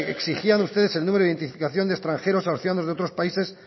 exigían ustedes el número de identificación de extranjeros a los ciudadanos de otros países